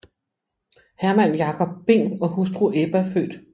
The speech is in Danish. Herman Jacob Bing og hustru Ebba f